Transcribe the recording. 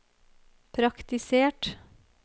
praktisert